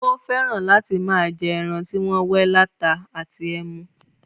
Ó fẹ́ràn láti máa jẹ́ ẹran tí wọ́n wẹ́ láta àti ẹmu.